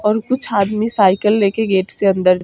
और कुछ आदमी साइकिल लेके गेट से अंदर --